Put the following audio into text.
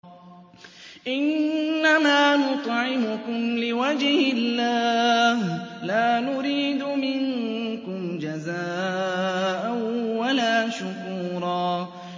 إِنَّمَا نُطْعِمُكُمْ لِوَجْهِ اللَّهِ لَا نُرِيدُ مِنكُمْ جَزَاءً وَلَا شُكُورًا